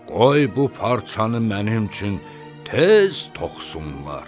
Qoy bu parçanı mənim üçün tez toxusunlar!